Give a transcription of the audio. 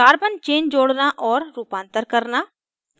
carbon chain जोड़ना और रूपांतर करना